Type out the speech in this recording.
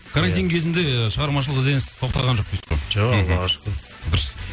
карантин кезінде ы шығармашылық ізденіс тоқтаған жоқ дейсіз ғой жоқ аллаға шүкір дұрыс